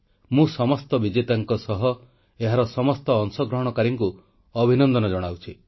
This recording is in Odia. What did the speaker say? ମୁଁ ସମସ୍ତ ବିଜେତାଙ୍କ ସହ ଏହାର ସମସ୍ତ ଅଂଶଗ୍ରହଣକାରୀଙ୍କୁ ଅଭିନନ୍ଦନ ଜଣାଉଛି